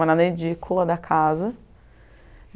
Morar na Edícula da casa.